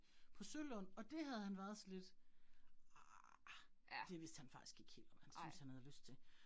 På Sølund, og det havde han været sådan lidt ah, det vidste han faktisk ikke helt, om han syntes, havde lyst til